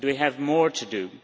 Do we have more to do?